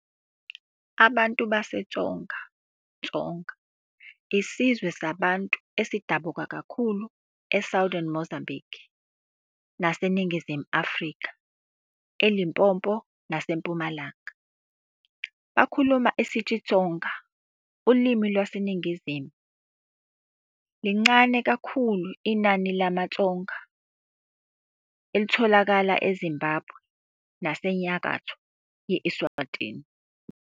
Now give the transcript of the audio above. Abantu baseTsonga, Tsonga, Isizwe samaBantu esidabuka kakhulu eSouthern Mozambique naseNingizimu Afrika, eLimpopo naseMpumalanga. Bakhuluma isiXitsonga, ulimi lwaseNingizimu Bantu. Lincane kakhulu lemaTsonga latfolakala eZimbabwe naseNyakatfo ye-Eswatini.